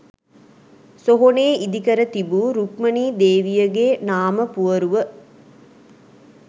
සොහොනේ ඉදිකර තිබූ රුක්මණී දේවියගේ නාමපුවරුව